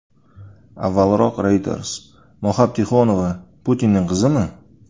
Avvalroq Reuters Moxab Tixonova Putinning qizimi?